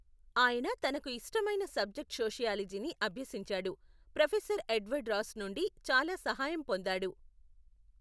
ఆయన తనకు ఇష్టమైన సబ్జెక్ట్ సోషియాలజీని అభ్యసించాడు, ప్రొఫెసర్ ఎడ్వర్డ్ రాస్ నుండి చాలా సహాయం పొందాడు.